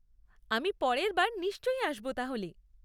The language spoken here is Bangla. আমি পরের বার নিশ্চয় আসব তাহলে।